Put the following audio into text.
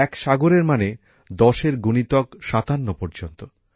এক সাগরএর মানে ১০ এর গুণিতক ৫৭ পর্যন্ত